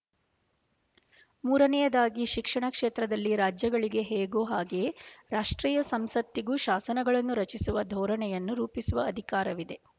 ಮೂರನೆಯದಾಗಿ ಶಿಕ್ಷಣ ಕ್ಷೇತ್ರದಲ್ಲಿ ರಾಜ್ಯಗಳಿಗೆ ಹೇಗೋ ಹಾಗೆಯೇ ರಾಷ್ಟ್ರೀಯ ಸಂಸತ್ತಿಗೂ ಶಾಸನಗಳನ್ನು ರಚಿಸುವ ಧೋರಣೆಯನ್ನು ರೂಪಿಸುವ ಅಧಿಕಾರವಿದೆ